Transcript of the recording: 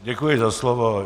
Děkuji za slovo.